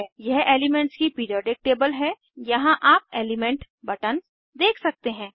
यह एलीमेन्ट्स की periodic table है यहाँ आप एलीमेंट बटन्स देख सकते हैं